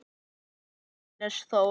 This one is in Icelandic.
Takk, Hannes Þór.